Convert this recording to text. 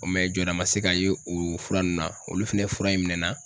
jɔda ma se ka ye o fura nunnu na olu fɛnɛ fura in minɛ n na